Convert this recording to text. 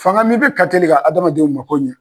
Fanga min bɛ kateli ka hadamadenw ma ko ɲɛ.